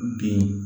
Den